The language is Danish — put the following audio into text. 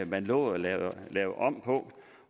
man lovet at lave om på